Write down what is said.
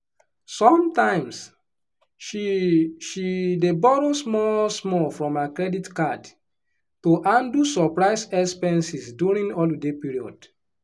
sometimes she she dey borrow small-small from her credit card to handle surprise expenses during holiday period.